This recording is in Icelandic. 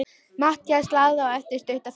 Matthías lagði á eftir stutta þögn.